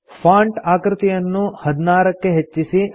font ಆಕೃತಿಯನ್ನು ೧೬ ಕ್ಕೆ ಹೆಚ್ಚಿಸಿ